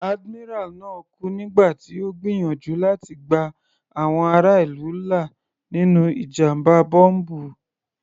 Admiral náà kú nígbà tí Ó ń gbìyànjú láti gba àwọn ará ìlú là nínú ìjàmbá bọ́m̀bù.